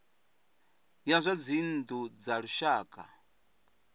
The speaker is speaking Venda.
ya zwa dzinnu dza lushaka